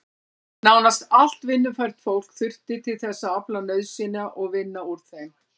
Nánast allt vinnufært fólk þurfti til þess að afla nauðsynja og vinna úr þeim.